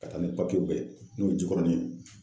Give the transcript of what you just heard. Ka taa ni papiyew bɛɛ ye n'o ye Jikɔrɔni ye.